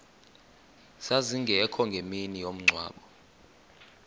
zazingekho ngemini yomngcwabo